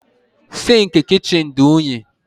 Sinkii kichin di unyi.